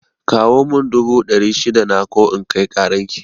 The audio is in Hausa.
Kawo mun dubu dari shida na ko in kai karan ki